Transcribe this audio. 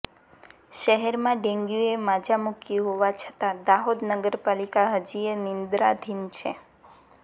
શહેરમાં ડેન્ગ્યૂએ માઝા મૂકી હોવા છતાં દાહોદ નગર પાલિકા હજીયે નિંદ્રાધીન છે